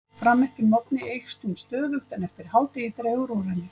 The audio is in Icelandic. Fram eftir morgni eykst hún stöðugt en eftir hádegi dregur úr henni.